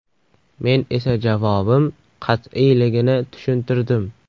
Men esa javobim qat’iyligini tushuntirdim.